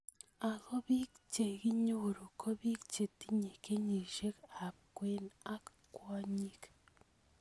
Ako bik chekinyoru ko bik chetinye kenyishek ab kwen ak kwonyik.